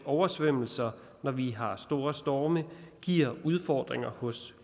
oversvømmelser når vi har store storme giver udfordringer hos